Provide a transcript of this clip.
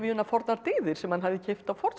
fornar dyggðir sem hann hafði keypt á